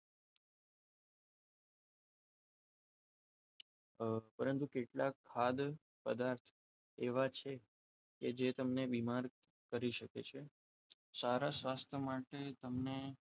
પરંતુ કેટલાક હાલ ખાદ્ય પદાર્થ પદાર્થ એવા છે કે જે તમને બીમાર કરી શકે છે સારા સ્વાસ્થ્ય માટે તમને